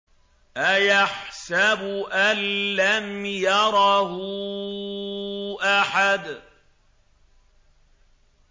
أَيَحْسَبُ أَن لَّمْ يَرَهُ أَحَدٌ